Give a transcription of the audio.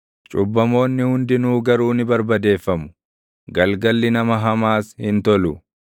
Cubbamoonni hundinuu garuu ni barbadeeffamu; galgalli nama hamaas hin tolu.